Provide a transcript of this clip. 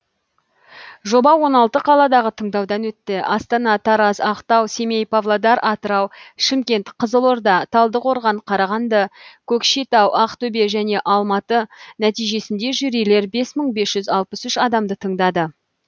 жоба он алты қаладағы тыңдаудан өтті астана тараз ақтау семей павлодар атырау шымкент қызылорда талдықорған қарағанды көкшетау ақтөбе және алматы нәтижесінде жюрилер бес мың бес жүз алпыс үш адамды тыңдады